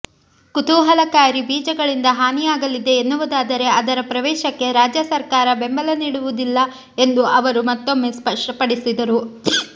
ಕುಲಾಂತರಿ ಬೀಜಗಳಿಂದ ಹಾನಿಯಾಗಲಿದೆ ಎನ್ನುವುದಾದರೆ ಅದರ ಪ್ರವೇಶಕ್ಕೆ ರಾಜ್ಯ ಸರಕಾರ ಬೆಂಬಲ ನೀಡುವುದಿಲ್ಲ ಎಂದು ಅವರು ಮತ್ತೊಮ್ಮೆ ಸ್ಪಷ್ಟಪಡಿಸಿದರು